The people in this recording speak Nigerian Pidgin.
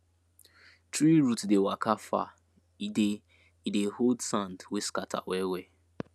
tree root dey waka far e dey e dey hold sand wey scatter well well